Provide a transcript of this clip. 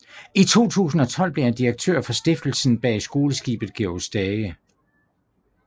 I 2012 blev han direktør for stiftelsen bag skoleskibet Georg Stage